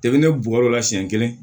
ne b'o yɔrɔ la siɲɛ kelen